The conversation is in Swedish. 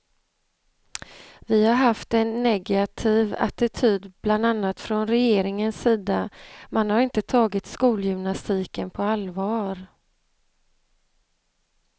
Vi har haft en negativ attityd bland annat från regeringens sida, man har inte tagit skolgymnastiken på allvar.